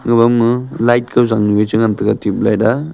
huwang ma light kao zang nu e cha ngan taiga tub light a.